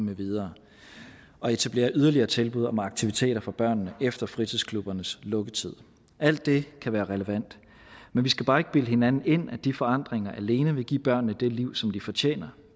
videre og etablere yderligere tilbud om aktiviteter for børnene efter fritidsklubbernes lukketid alt det kan være relevant men vi skal bare ikke bilde hinanden ind at de forandringer alene vil give børnene det liv som de fortjener